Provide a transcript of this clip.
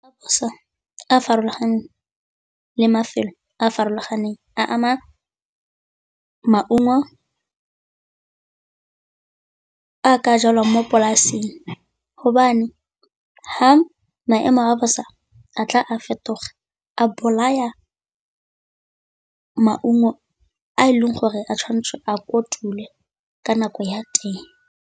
A bosa a a farologaneng le mafelo a a farologaneng a ama maungo a jalwang mo polasing, hobane fa maemo a bosa a tla a fetoga a bolaya maungo a e leng gore a tshwanetse a kotulwe ka nako ya teng.